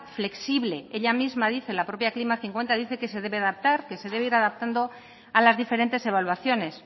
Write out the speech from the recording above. flexible ella misma dice la propia klima dos mil cincuenta dice que se debe adaptar que se debe ir adaptando a las diferentes evaluaciones